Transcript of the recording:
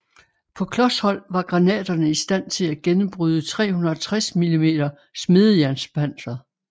På klos hold var granaterne i stand til at gennembryde 360 mm smedejernspanser